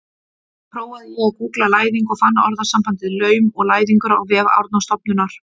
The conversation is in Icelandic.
Þá prófaði ég að gúggla læðing og fann orðasambandið laum og læðingur á vef Árnastofnunar.